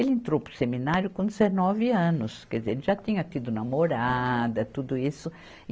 Ele entrou para o seminário com dezenove anos, quer dizer, ele já tinha tido namorada, tudo isso.